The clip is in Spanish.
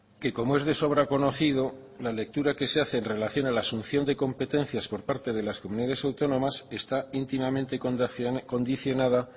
que como es de sobra conocido la lectura que se hace en relación a la asunción de competencias por parte de las comunidades autónomas está íntimamente condicionada